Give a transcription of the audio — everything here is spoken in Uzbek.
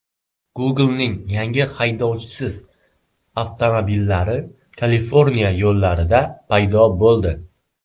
Google’ning yangi haydovchisiz avtomobillari Kaliforniya yo‘llarida paydo bo‘ldi.